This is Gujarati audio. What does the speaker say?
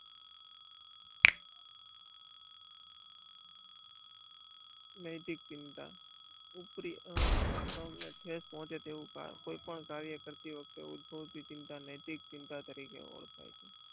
નૈતિક ચિંતા ઉપરી હમને ઠેસ પહોંચે તેઓ કોઇ પણ કાર્ય કરતી વખતે ભૂતપૂર્વ ચિંતા નૈતિક ચિંતા તરીકે ઓળખાય છે.